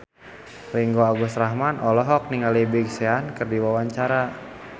Ringgo Agus Rahman olohok ningali Big Sean keur diwawancara